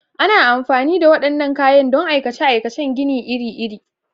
Ana amfani da waɗannan kayan don aikace-aikacen gini iri-iri.